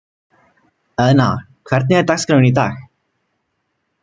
Eðna, hvernig er dagskráin í dag?